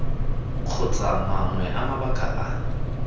kgotsa mangwe a mabaka a